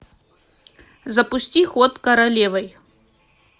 запусти ход королевой